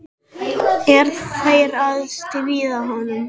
Er þeir að stríða honum?